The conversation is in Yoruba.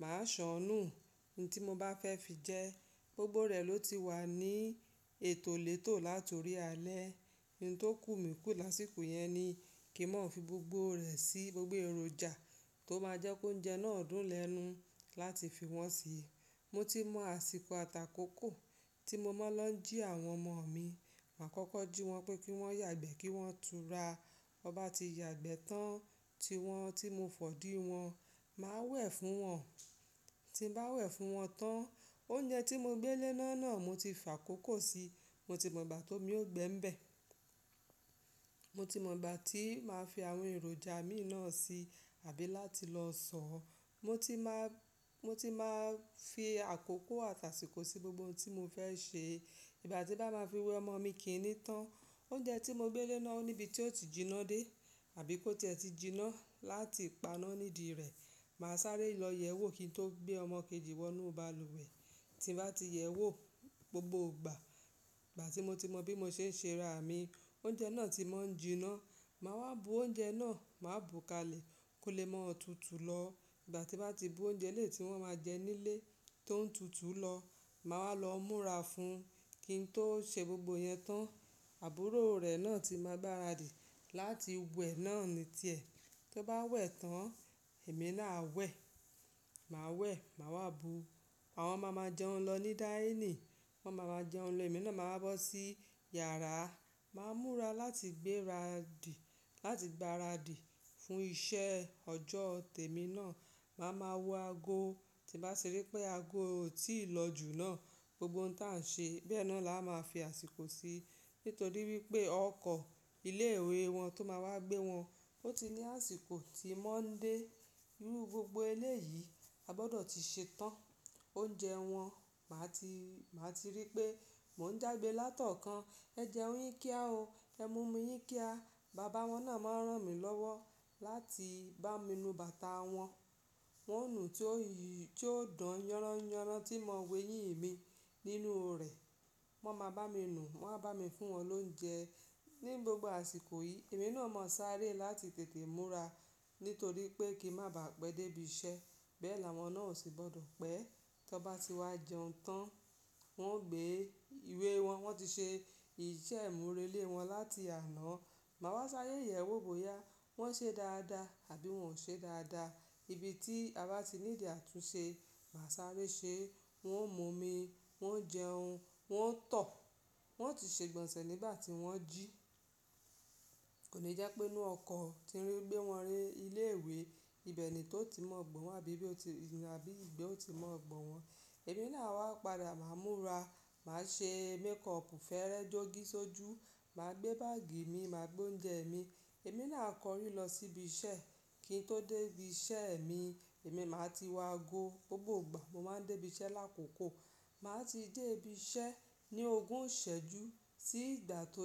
màá ṣọ̀nù. Ohun tí mo bá fẹ́ fi jẹ, gbogbo rẹ̀ ló ti wà ní ètò létò láti orí alẹ́. Ohun tó kù mí kù lásìkò yẹn ni kí n má fi gbogbo rẹ̀ sí gbogbo èròjà tó máa jẹ́ kó oúnjẹ náà dùn lẹ́nu láti fi wọ́n si. Mo ti mọ̀ àsìkò atà'kókò tí mo máa ń lọ jí àwọn ọmọ mi. Màá kọ́kọ́ jí wọn pé kí wọ́n yàgbẹ́ kí wọ́n tún ra. Wọ́n bá ti yàgbẹ́ tán, tiwọn tí mo fọ̀dí wọn, màá wẹ̀ fún wọn. Tí bá wẹ̀ fún wọn tán, oúnjẹ tí mo gbé léná náà mo ti fà kókó si. Mo ti mọ̀ ìgbà tó mi ó gbé ń bẹ̀. Mo ti mọ̀ ìgbà tí màá fi àwọn èròjà mi náà si àbí láti lọ sọọ̀. Mo ti máa, mo ti máa fi àkókò àtàsíkò sí gbogbo ohun tí mo fẹ́ ṣe. Ìgbà tí bá máa fi wẹ ọmọ mi kì í ní tán. Oúnjẹ tí mo gbé léná ò ní ibi tí ó ti jiná dé àbí kó ti ẹ ti jiná láti paná nídìí rẹ̀. Màá sáré lọ yẹ̀wò kí n tó gbé ọmọ kejì wọ inú balùwẹ̀. Tí bá ti yẹ̀wò gbogbo ìgbà, ìgbà tí mo ti mọ bí mo ṣe ń ṣe ra mi, oúnjẹ náà ti mọ́ ń jiná. Màá wá bu oúnjẹ náà, màá bùú ká lè kó lè mọ́ tutù lọ. Ìgbà tí bá ti bú oúnjẹ eleti wọn máa jẹ nílé tó ń tutù lọ, màá wa lọ múra fún un kí n tó ṣe gbogbo yẹn tán. Àbúrò rẹ̀ náà ti máa gbaradì láti wẹ̀ náà ní tiẹ̀. Tó bá wẹ̀ tán, èmi náà awẹ̀. Màá wẹ̀, màá wá bu. Àwọn ma máa jẹun lọ ní dáínì. Wọ́n ma máa jẹun lọ, èmi náà máa wá bọ́ sí yàrá. Màá múra láti gberadì, láti gbaradì fún iṣẹ́ ọjọ́ tẹ̀ mí náà. Màá máa wọ aago. Tí bá ti rí pé aago ò tí ì lọ jù náà, gbogbo ohun tí à ń ṣe bẹ́ẹ̀ náà la máa fi àsìkò sí nítorí wípé ọkọ̀ ilé ìwé wọn tó máa wá gbé wọn, ó ti ní àsìkò tí wọn ń dé. Inú gbogbo elé yìí, a gbọ́dọ̀ ti ṣe tán. Oúnjẹ wọn, màá ti, màá ti rí pé mò ń jágbe látọ̀ọ́kàn. "Ẹ jẹun yín kíá o. Ẹ mu omi yín kí a." Bàbá wọn náà máa ń rán mi lọ́wọ́ láti bá mi nu bàtà wọn. Wọn ò nú tí ó, tí ó dan yánran yánran tí mo wẹ yín mi nínú rẹ̀. Wọ́n máa bá mi nu, wọ́n á bá mi fún wọn lóúnjẹ. Ni gbogbo àsìkò yìí, èmi náà mọ̀ sáré láti tètè múra nítorí pé kí n má bàá pé dé ibi iṣẹ́. Bẹ́ẹ̀ làwọn náà sì gbọ́dọ̀ pé. Tí wọ́n bá ti wá jẹun tán, wọ́n ó gbé ìwé wọn. Wọ́n ti ṣe ìṣe ìmúrelé wọn láti àná. Màá wá sáré yẹ̀wò bóyá wọ́n ṣe dáadáa àbí wọn ò ṣe dáadáa. Ibi tí a bá ti ní ìdí àtúnṣe, màá sáré ṣe. Wọn ò mú omi, wọn ò jẹun, wọn ò tọ̀. Wọn ò ti ṣe ìgbọ̀nsẹ̀ nígbà tí wọ́n jí. Kò ní jẹ́ pé inú ọkọ̀ tí ń rí gbé wọn rí ilé ìwé, ibẹ̀ ni tó ti mọ̀ gbọ́n wọ́n àbí bí ó ti, àbí ìgbẹ́ ó ti mọ̀ gbọ́n wọ́n. Èmi náà a wà padà, màá múra. Màá ṣe mékọọ̀pù, fẹ́rẹ́ jogi sójú. Màá gbé báàgì mi, màá gbé oúnjẹ mi. Èmi náà a kọrí lọ sí ibi iṣẹ́. Kí n tó dé ibi iṣẹ́ mi, èmi máa ti wọ aago gbogbo ìgbà. Mo máa ń dé ibi iṣẹ́ lákòókò. Màá ti dé ibi iṣẹ́ ní ogún ìṣẹ́jú sí ìgbà tó jẹ́